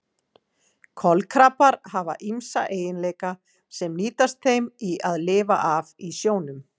Kolkrabbar hafa ýmsa eiginleika sem nýtast þeim í að lifa af í sjónum.